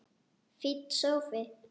Fínn sófi!